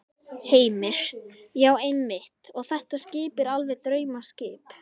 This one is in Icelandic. Heimir: Já, einmitt og þetta skip er alveg draumaskip?